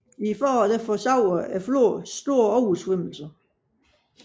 I foråret forårsager floden store oversvømmelser